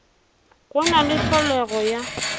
go na le tlholego ya